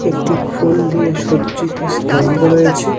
একটি ফুল দিয়ে সজ্জিত স্তম্ভ রয়েছে.